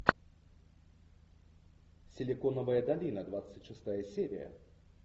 силиконовая долина двадцать шестая серия